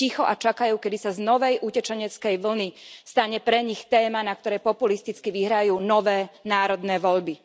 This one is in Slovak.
Sú ticho a čakajú, kedy sa z novej utečeneckej vlny stane pre nich téma, na ktorej populisticky vyhrajú nové národné voľby.